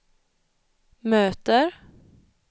möter